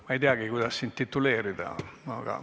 Ma ei teagi, kuidas sind tituleerida ...